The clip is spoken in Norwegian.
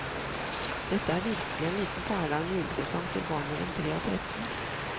Dette er virkelig en liten perle av en julepresang til barn mellom tre og tretten.